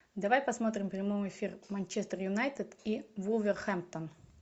давай посмотрим прямой эфир манчестер юнайтед и вулверхэмптон